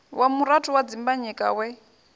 wa murathu wa dimbanyika we